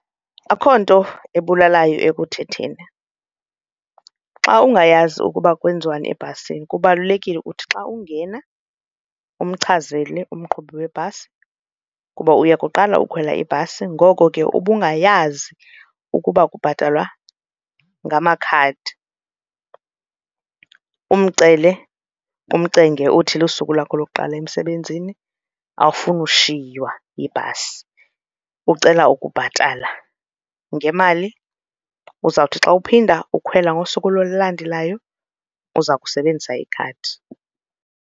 Akho nto ebulalayo ekuthetheni. Xa ungayazi ukuba kwenziwani ebhasini kubalulekile uthi xa ungena umchazele umqhubi webhasi ukuba uyakuqala ukukhwela ibhasi ngoko ke ubungayazi ukuba kubhatalwa ngamakhadi umcele, umcenge, uthi lusuku lakho lokuqala emsebenzini awufuni ushiywa yibhasi ucela ukubhatala ngemali. Uzawuthi xa uphinda ukhwela ngosuku olulandelayo uza kusebenzisa ikhadi.